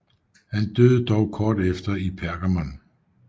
Han døde dog kort efter i Pergamum